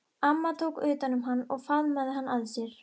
Amma tók utan um hann og faðmaði hann að sér.